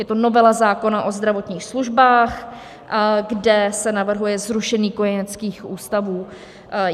Je to novela zákona o zdravotních službách, kde se navrhuje zrušení kojeneckých ústavů.